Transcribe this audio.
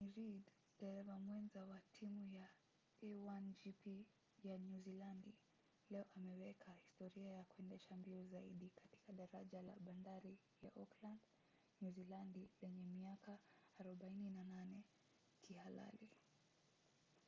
johnny reid dereva mwenza wa timu ya a1gp ya nyuzilandi leo ameweka historia kwa kuendesha mbio zaidi katika daraja la bandari ya auckland nyuzilandi lenye miaka 48 kihalali